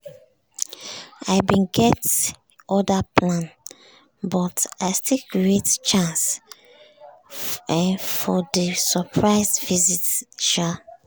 i bin get other plan but i still create chance um for di surprise um visit sha. um